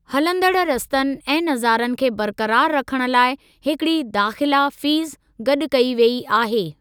हलंदड़ रस्तनि ऐं नज़ारनि खे बरक़रारु रखण लाइ हिकिड़ी दाख़िला फ़ीस गॾु कई वेई आहे।